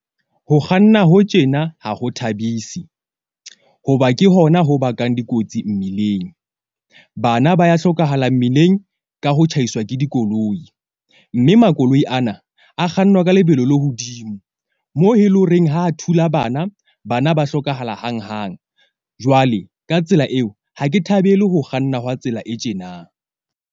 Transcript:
Ho kganna ho tjena ha ho thabisi hoba ke hona ho bakang dikotsi mmileng. Bana ba ya hlokahala mmileng ka ho tjhaiswa ke dikoloi. Mme makoloi ana a kgannwa ka lebelo le hodimo. Mo e leng horeng ha a thula bana, bana ba hlokahala hanghang. Jwale ka tsela eo, ha ke thabele ho kganna hwa tsela e tjenang.